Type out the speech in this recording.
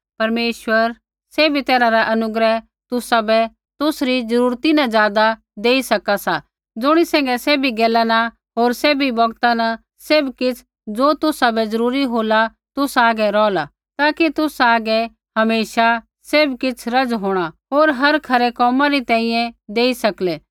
परमेश्वरा सैभी तैरहा रा अनुग्रह तुसाबै तुसरी जरूरता न ज़ादा देई सका सा ज़ुणी सैंघै सैभी गैला न होर सैभी बौगता न सैभ किछ़ ज़ो तुसाबै जरूरी होला तुसा हागै रोहला ताकि तुसा हागै हमेशा सैभ किछ़ रज़ होंणा होर हर खरै कोमा री तैंईंयैं देई सकलै